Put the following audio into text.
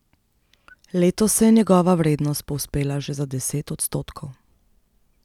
Letos se je njegova vrednost povzpela že za deset odstotkov.